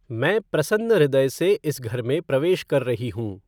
मैं प्रसन्न हृदय से इस घर में प्रवेश कर रही हूं।